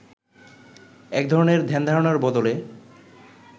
এক ধরনের ধ্যানধারণার বদলে